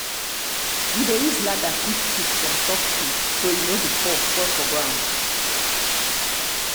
we dey use ladder pick fruit from top tree so e no go fall spoil for ground.